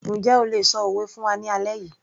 Njẹ́ o lè ṣọ òwe fún wa ní alẹ́ yìí